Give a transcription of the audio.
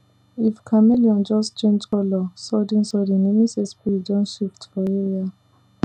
if chameleon just change colour suddensudden e mean say spirit don shift for area